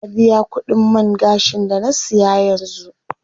Na biya kudin man gashin da na siya yanzu.